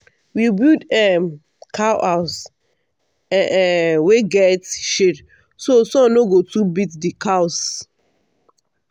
we build um cow house um wey get shade so sun no go too beat the cows.